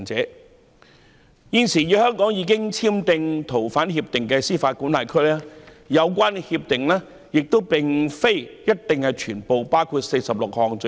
就現時已經與香港簽訂逃犯協定的司法管轄區，有關協定不一定包括46項罪類。